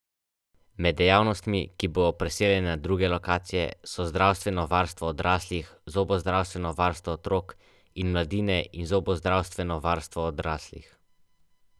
To ti da elan za naprej.